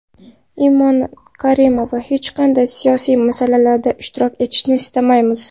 Imon Karimova: Hech qanday siyosiy masalalarda ishtirok etishni istamaymiz.